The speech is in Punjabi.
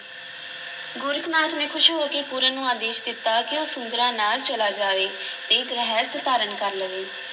ਗੋਰਖ ਨਾਥ ਨੇ ਖ਼ੁਸ਼ ਹੋ ਕੇ ਪੂਰਨ ਨੂੰ ਆਦੇਸ਼ ਦਿੱਤਾ ਕਿ ਉਹ ਸੁੰਦਰਾਂ ਨਾਲ ਚਲਾ ਜਾਵੇ ਤੇ ਗ੍ਰਿਸਤ ਧਾਰਨ ਕਰ ਲਵੇ।